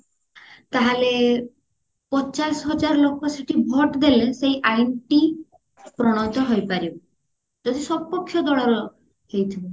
ତାହେଲେ ପଚାଶ ହଜାର ଲୋକ ସେଠି vote ଦେଲେ ସେଇ ଆଇନ ଟି ପ୍ରଣୟତ ହେଇ ପାରିବ ଯଦି ସପକ୍ଷ ଦଳର ଲୋକ ହେଇଥିବ